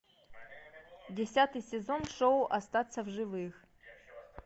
десятый сезон шоу остаться в живых